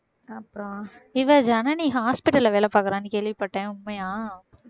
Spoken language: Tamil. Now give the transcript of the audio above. அப்புறம் இவ, ஜனனி hospital ல வேலை பாக்குறான்னு கேள்விப்பட்டேன் உண்மையா